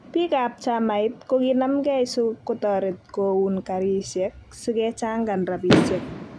Biik ab chamait kokinamkei so kotaret koun karisiek si kechangan rabisiek